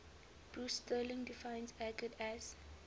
bruce sterling defines argot as